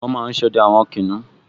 Wọ́n máa n sọdẹ àwọn kìnìún